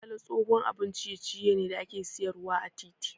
Gala tsohon abun ciye ciye da ake siyar wa ã titi.